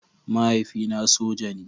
Mahaifina soja ne.